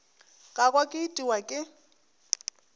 ka kwa ke itiwa ke